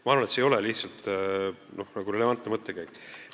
Ma arvan, et see ei ole lihtsalt relevantne mõttekäik.